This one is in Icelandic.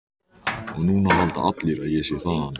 Og núna halda allir að ég sé þaðan.